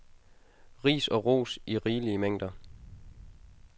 Ris og ros i rigelige mængder.